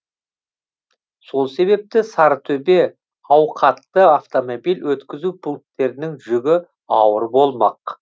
сол себепті сарытөбе ауқатты автомобиль өткізу пунктерінің жүгі ауыр болмақ